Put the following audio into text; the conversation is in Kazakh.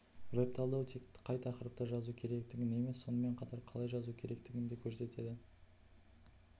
веб-талдау тек қай тақырыпта жазу керектігін емес сонымен қатар қалай жазу керектігін де көрсетеді